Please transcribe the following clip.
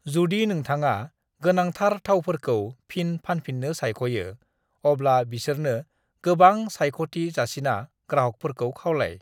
"जुदि नोंथाङा गोनांथार थावफोरखौ फिन फानफिननो सायख'यो, अब्ला बिसोरनो गोबां सायख'थि जासिना ग्राहकफोरखौ खावलाय।"